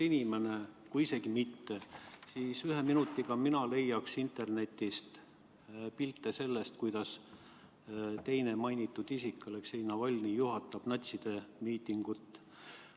Ma leiaksin ühe minutiga internetist pilte sellest, kuidas teine teie mainitud isik, Aleksei Navalnõi, juhatab natside miitingut.